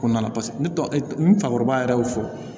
Ko nana paseke ne tɔgɔ n fakɔrɔba yɛrɛ y'o fɔ